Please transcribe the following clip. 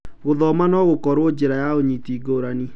Gũthoma no gũkorwo njĩra ya ũnyiti ngũrani.